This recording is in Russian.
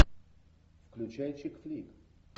включай чик флик